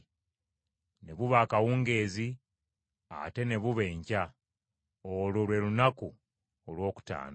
Ne buba akawungeezi, ate ne buba enkya; olwo lwe lunaku olwokutaano.